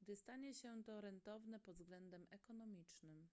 gdy stanie się to rentowne pod względem ekonomicznym